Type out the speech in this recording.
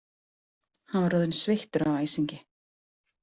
Hann var orðinn sveittur af æsingi.